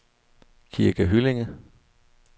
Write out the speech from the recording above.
Kirke Hyllinge